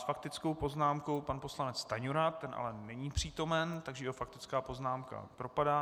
S faktickou poznámkou pan poslanec Stanjura, ten ale není přítomen, takže jeho faktická poznámka propadá.